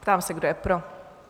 Ptám se, kdo je pro?